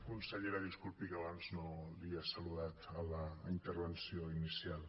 consellera disculpi que abans que no l’he saludat en la intervenció inicial